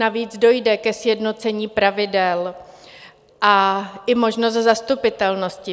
Navíc dojde ke sjednocení pravidel a i možnosti zastupitelnosti.